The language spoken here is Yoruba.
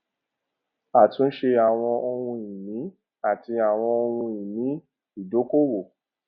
àtúnṣe àwọn ohun ìní àti àwọn ohun ìní ìdókòwò